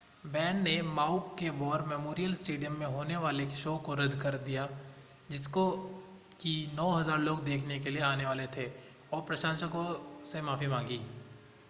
band ने Maui के war memorial stadium में होने वाले शो को रद्द कर दिया जिसको कि 9,000 लोग देखने के लिए आने वाले थे और प्रशंसको से माफ़ी मांगी